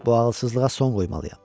Bu ağılsızlığa son qoymalıyam.